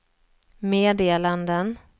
meddelanden